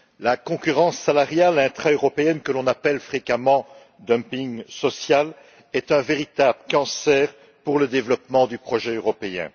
La concurrence salariale intraeuropéenne, que l'on appelle fréquemment dumping social, est un véritable cancer pour le développement du projet européen.